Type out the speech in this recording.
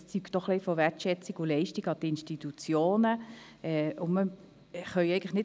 Er zeugt auch von der Wertschätzung der Leistungen, die die Institutionen erbringen.